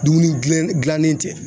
Dumuni dilannen tɛ.